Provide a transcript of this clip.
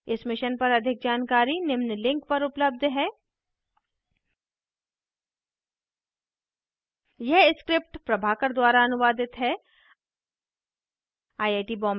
इस mission पर अधिक जानकारी निम्न लिंक पर उपलब्ध है